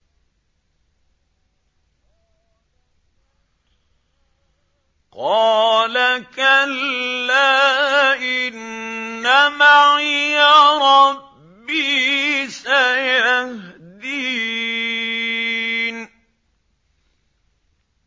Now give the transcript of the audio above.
قَالَ كَلَّا ۖ إِنَّ مَعِيَ رَبِّي سَيَهْدِينِ